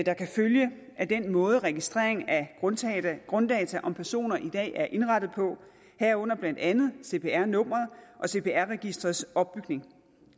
der kan følge af den måde registrering af grunddata om personer i dag er indrettet på herunder blandt andet cpr nummeret og cpr registerets opbygning